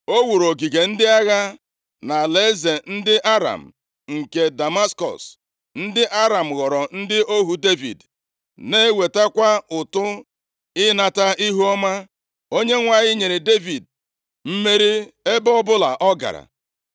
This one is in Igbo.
O wuru ogige ndị agha nʼalaeze ndị Aram nke Damaskọs. Ndị Aram ghọrọ ndị ohu Devid, na-ewetakwa ụtụ ịnata ihuọma. Onyenwe anyị nyere Devid mmeri ebe ọbụla ọ gara.